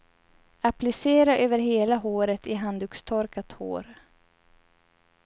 Applicera över hela håret i handdukstorkat hår.